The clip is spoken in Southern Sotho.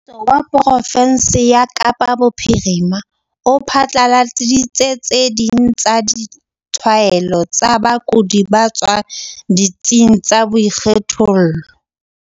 Mmuso wa profensi ya Kapa Bophirima o phatlaladitse tse ding tsa ditshwaelo tsa bakudi ba tswang ditsing tsa boikgethollo.